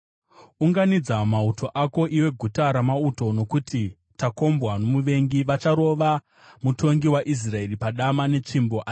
Unganidza mauto ako, iwe guta ramauto, nokuti takombwa nomuvengi. Vacharova mutongi waIsraeri netsvimbo padama.